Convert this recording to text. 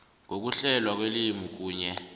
ngokuhlelwa kwelimi kunye